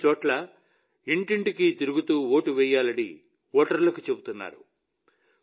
కొన్నిచోట్ల ఇంటింటికీ తిరుగుతూ ఓటు వేయాలని ఓటర్లకు చెప్తున్నారు